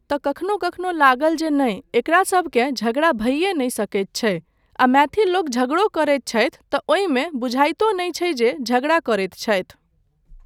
तँ कखनो कखनो लागल जे नहि एकरा सभकेँ झगड़ा भइए नहि सकैत छै आ मैथिल लोक झगड़ो करैत छथि तँ ओहिमे बुझाइतो नहि छै जे झगड़ा करैत छथि।